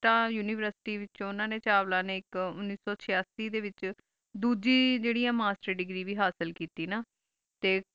T univirestry ਤਾ university ਵਿਚੋ ਓਨਾ ਨੀ ਚਾਵਲਾ ਨੀ ਆਇਕ ਉਨੀਸ ਸੋ ਛਿਆਸੀ ਡੀ ਵਿਚ ਦੂਜੀ ਜੇਰੀ ਆ ਮਾਸਟਰ ਦੇਗ੍ਰੀ ਵ ਹਾਸਿਲ ਕੀਤੀ ਨਾ